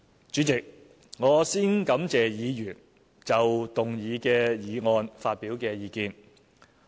主席，我先感謝議員就動議的議案發表的意見。